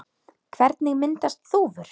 Hvernig myndast þúfur?